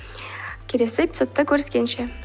келесі эпизодта көріскенше